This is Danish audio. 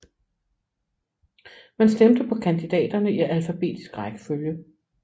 Man stemte på kandidaterne i alfabetisk rækkefølge